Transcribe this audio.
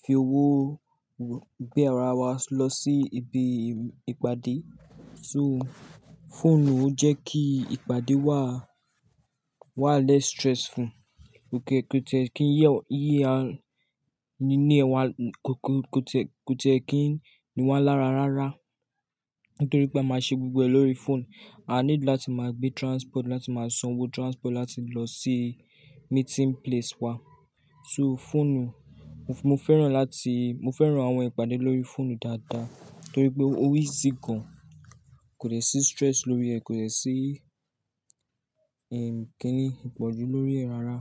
fi owó gbé ara wa lọ sí ibi ìpàdé. So, fóònù ń jẹ́ kí ìpàdé wà, wà less stressful. Kò tẹ́ kí yíyẹ nínú ẹ̀wà, kò tẹ́ kí niwà lára rárá. Nítorí pé a máa ṣe gbogbo ẹ̀ lórí fóònù. A nílò láti máa gbé transport láti máa san owó transport láti lọ sí meeting place wa. So fóònù, mo fẹ́ràn láti, mo fẹ́ràn àwọn ìpàdé lórí fóònù dáadáa nítorí pé ó easy gan, kò dẹ̀ sí stress lórí ẹ̀, kò dẹ̀ sí, ẹ́, kí ni, ìpọ̀jù lórí ẹ̀ rárá.